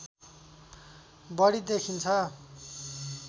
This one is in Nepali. बढी देखिन्छ